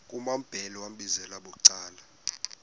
kumambhele wambizela bucala